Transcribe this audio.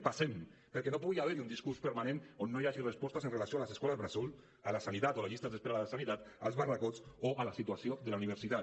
passem perquè no pugui haver hi un discurs permanent on no hi hagi respostes amb relació a les escoles bressol a la sanitat o a les llistes d’espera a la sanitat als barracots o a la situació de la universitat